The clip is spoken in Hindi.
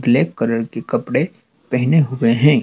ब्लैक कलर के कपड़े पहने हुए हैं।